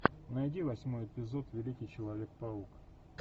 найди восьмой эпизод великий человек паук